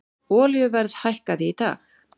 Olíuverð hækkaði í dag